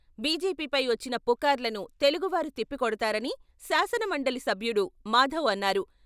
బీజేపీపై వచ్చిన పుకార్లను తెలుగువారు తిప్పికొడతారని శాసనమండలి సభ్యుడు మాధవ్ అన్నారు.